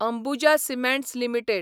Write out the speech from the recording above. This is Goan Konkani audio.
Ambuja cements limited